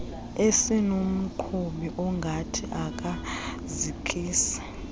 esinomqhubi ongathi akazikisi